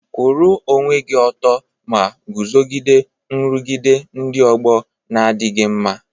Kwụrụ onwe gị ọtọ ma guzogide nrụgide ndị ọgbọ na-adịghị mma.